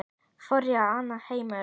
Flórída var annar heimur.